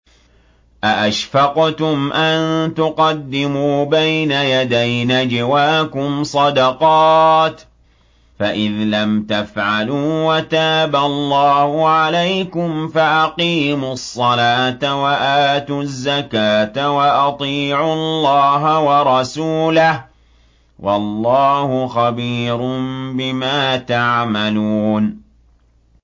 أَأَشْفَقْتُمْ أَن تُقَدِّمُوا بَيْنَ يَدَيْ نَجْوَاكُمْ صَدَقَاتٍ ۚ فَإِذْ لَمْ تَفْعَلُوا وَتَابَ اللَّهُ عَلَيْكُمْ فَأَقِيمُوا الصَّلَاةَ وَآتُوا الزَّكَاةَ وَأَطِيعُوا اللَّهَ وَرَسُولَهُ ۚ وَاللَّهُ خَبِيرٌ بِمَا تَعْمَلُونَ